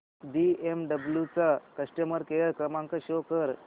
BMW चा customer care क्रमांक show कर